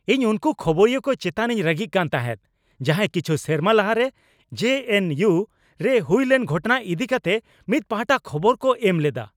ᱤᱧ ᱩᱱᱠᱩ ᱠᱷᱚᱵᱚᱨᱤᱭᱟᱹ ᱠᱚ ᱮᱪᱛᱟᱱᱤᱧ ᱨᱟᱹᱜᱤᱜ ᱠᱟᱱ ᱛᱟᱦᱮᱸᱜ ᱡᱟᱦᱟᱸᱭ ᱠᱤᱪᱦ ᱥᱮᱨᱢᱟ ᱞᱟᱦᱟᱨᱮ ᱡᱮᱹᱮᱱᱹᱤᱭᱩ ᱨᱮ ᱦᱩᱭᱞᱮᱱ ᱜᱷᱚᱴᱚᱱᱟ ᱤᱫᱤ ᱠᱟᱛᱮ ᱢᱤᱫ ᱯᱟᱦᱟᱴᱟ ᱠᱷᱚᱵᱚᱨ ᱠᱚ ᱮᱢ ᱞᱮᱫᱟ ᱾